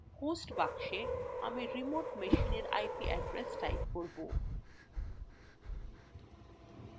host box আমি remote machinein ip address type করব